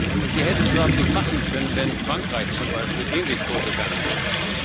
Und sie hätte es überhaupt nicht machen können, wenn Frankreich zum Beispiel ähnlich vorgegangen wäre.